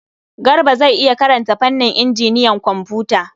Garba zai iya karanta fannin injiniyan kwamfuta.